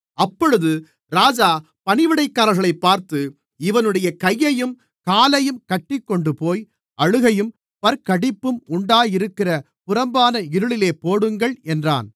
அப்பொழுது ராஜா பணிவிடைக்காரர்களைப் பார்த்து இவனுடைய கையையும் காலையும் கட்டிக் கொண்டுபோய் அழுகையும் பற்கடிப்பும் உண்டாயிருக்கிற புறம்பான இருளிலே போடுங்கள் என்றான்